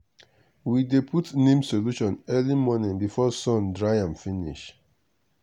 we dey put neem solution early morning before sun dry am finish.